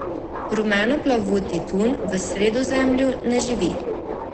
Rumenoplavuti tun v Sredozemlju ne živi.